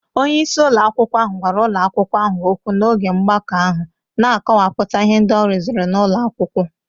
Onye isi ụlọ akwụkwọ ahụ gwara ụlọ akwụkwọ ahụ okwu n'oge mgbakọ ahụ, na-akọwapụta ihe ndị ọ rụziri n'ụlọ akwụkwọ.